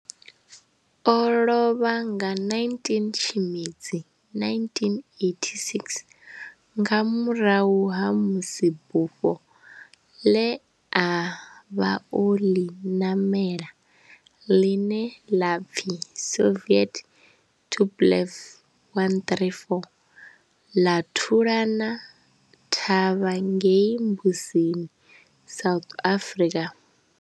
ḽO lovha nga 19 Tshimedzi 1986 nga murahu ha musi bufho ḽe a vha o ḽi namela, ḽine ḽa pfi Soviet Tupolev 134 ḽa thulana thavha ngei Mbuzini, South Africa.